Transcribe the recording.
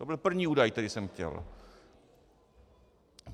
To byl první údaj, který jsem chtěl.